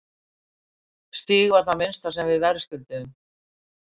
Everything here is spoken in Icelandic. Stig var það minnsta sem við verðskulduðum.